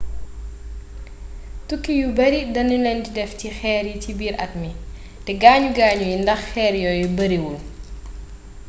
tukki yu bare danu len di def ci xeer yi ci biir at mi te gaañu gaañu yi ndax xeer yooyu bariwul